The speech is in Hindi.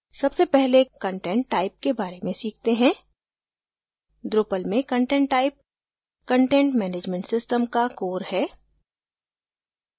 सबसे पहले content type के बारे में सीखते हैं drupal में content type content management system का core है